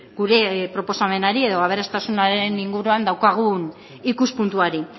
gure proposamenari edo aberastasunaren inguruan daukagun ikuspuntuari